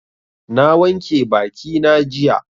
Na wanke bakina jiya.